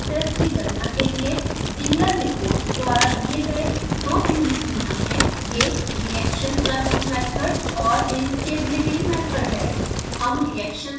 pid parameters की गणना के लिए zieglernichols द्वारा दिए गए दो ट्यूनिंग नियम हैं ये reaction curve मेथड और instability मेथड हैं